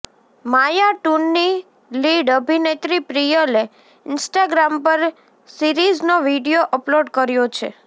માયા ટુની લીડ અભિનેત્રી પ્રિયલે ઇન્સ્ટાગ્રામ પર સિરીઝનો વીડિયો અપલોડ કર્યો છે